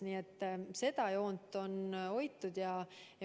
Nii et seda joont on hoitud.